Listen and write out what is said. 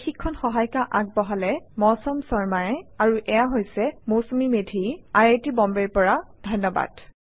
I I T Bombay ৰ পৰা মই মৌচুমী মেধী এতিয়া আপুনাৰ পৰা বিদায় লৈছো যোগদানৰ বাবে ধন্যবাদ